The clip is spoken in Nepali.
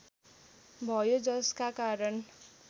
भयो जसका कारण